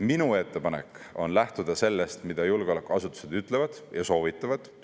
Minu ettepanek on lähtuda sellest, mida julgeolekuasutused ütlevad ja soovitavad.